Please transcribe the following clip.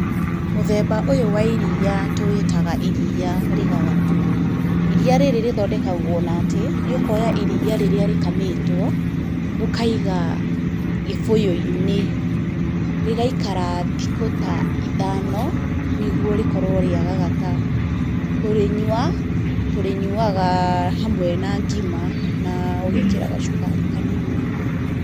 Mũthemba ũyũ wa iria tũwĩtaga iria rĩgagatu, iria rĩrĩ rĩthondekagwo na atĩ, nĩ'koya iria rĩrĩa rĩkamĩtwo, ũkaiga gĩbũyũ-inĩ, rĩgaikara thikũ ta ithano, nĩguo rĩkorwo rĩagagata, kũrĩnyua, tũrĩnyuaga hamwe na ngima na ũgekĩra gacukari kanini.